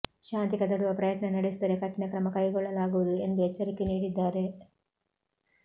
ಶಾಂತಿ ಕದಡುವ ಪ್ರಯತ್ನ ನಡೆಸಿದರೆ ಕಠಿಣ ಕ್ರಮ ಕೈಗೊಳ್ಳಲಾಗುವುದು ಎಂದು ಎಚ್ಚರಿಕೆ ನೀಡಿದ್ದಾರೆ